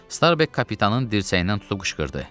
Starbek kapitanın dirsəyindən tutub qışqırdı.